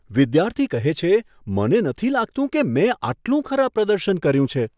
વિદ્યાર્થી કહે છે, મને નથી લાગતું કે મેં આટલું ખરાબ પ્રદર્શન કર્યું છે.